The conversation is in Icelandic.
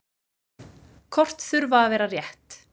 Kort þurfa að vera rétt.